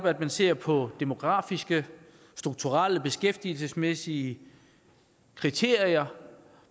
at man ser på demografiske strukturelle og beskæftigelsesmæssige kriterier